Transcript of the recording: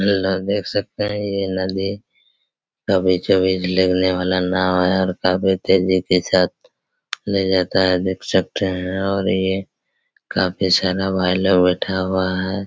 Hello देख सकते हैं ये नदी कभी चबी लगने वाला नाँव हैं और कभी तेजी के साथ ले जाता हैं देख सकते हैं और ये काफ़ी सारा भाई लोग बैठा हुआ हैं।